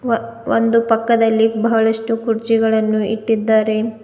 ಒಂದು ಪಕ್ಕದಲ್ಲಿ ಬಹಳಷ್ಟು ಕುರ್ಚಿಗಳನ್ನು ಇಟ್ಟಿದ್ದಾರೆ.